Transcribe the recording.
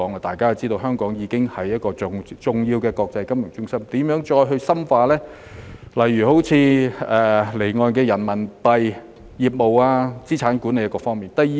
大家也知道，香港已經是重要的國際金融中心，我們應如何再深化離岸人民幣業務、資產管理各方面呢？